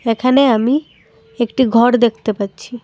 এখানে আমি একটি ঘর দেখতে পাচ্ছি।